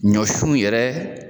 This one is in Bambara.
Ɲɔsunw yɛrɛ